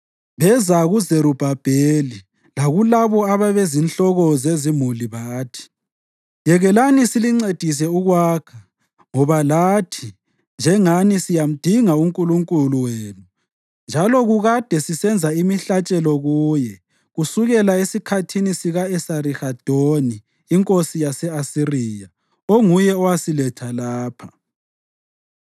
beza kuZerubhabheli lakulabo ababezinhloko zezimuli bathi, “Yekelani silincedise ukwakha ngoba lathi, njengani, siyamdinga uNkulunkulu wenu njalo kukade sisenza imihlatshelo kuye kusukela esikhathini sika-Esarihadoni inkosi yase-Asiriya, onguye owasiletha lapha.”